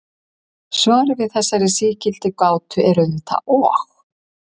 Svarið við þessari sígildu gátu er auðvitað og.